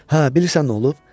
Hə, bilirsən nə olub?